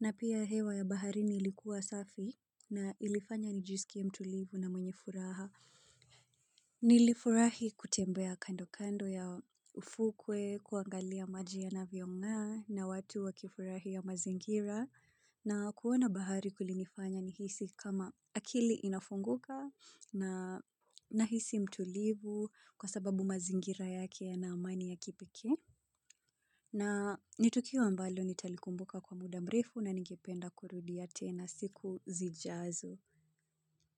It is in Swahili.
Na pia hewa ya bahari nilikuwa safi na ilifanya nijisikia mtulivu na mwenye furaha. Nilifurahi kutembea kando kando ya ufukwe kuangalia maji yanavyonga na watu wa kifurahi ya mazingira. Na kuona bahari kulinifanya nihisi kama akili inafunguka nahisi mtulivu kwa sababu mazingira yake yana amani ya kipeke. Na nitukio ambalo nitalikumbuka kwa muda mrefu na ningependa kurudia tena siku zijazo.